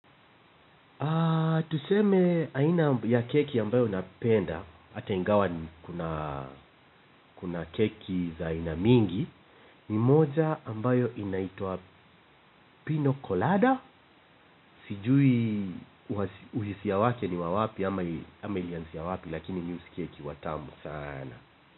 Tuseme aina ya keki ambayo napenda, hata ingawa kuna keki za aina mingi, ni moja ambayo inaitwa pino kolada, sijui uhisia wake ni wa wapi ama, ama ilianzia wapi lakini mi husikia ikiwa tamu sana.